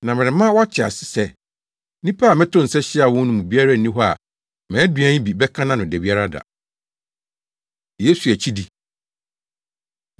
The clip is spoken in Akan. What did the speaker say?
Na merema woate ase sɛ, nnipa a metoo nsa hyiaa wɔn no mu biara nni hɔ a mʼaduan yi bi bɛka nʼano da biara da.’ ” Yesu Akyidi